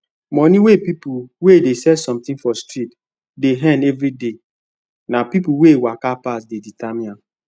money wey people wey dey sell something for street dey earn everyday na people wey waka pass dey determine am